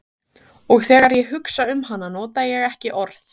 Og þegar ég hugsa um hana nota ég ekki orð.